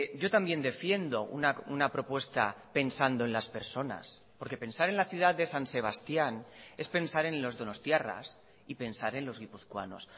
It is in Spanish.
yo también defiendo una propuesta pensando en las personas porque pensar en la ciudad de san sebastián es pensar en los donostiarras y pensar en los guipuzcoanos